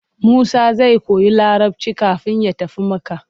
Musa zai koyi Larabci kafin ya tafi Makka.